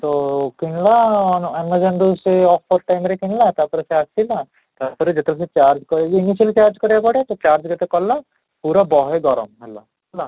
ହଁ, କିଣିଲା amazon ରୁ ସେଇ offer time ରେ କିଣିଲା ତା'ପରେ ସେ ଆସିଲା, ତା'ପରେ ଯେତେବେଳେ ମୁଁ charge କରିଲି ly charge କରିବାକୁ ପଡେ ସେ charge ଯେହେତୁ କଲା ପୁରା ବହେ ଗରମ ହେଲା ହେଲା